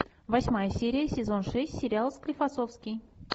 восьмая серия сезон шесть сериал склифосовский